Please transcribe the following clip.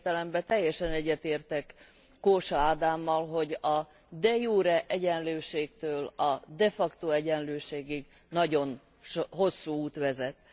Ilyen értelemben teljesen egyetértek Kósa Ádámmal, hogy a de jure egyenlőségtől a de facto egyenlőségig nagyon hosszú út vezet.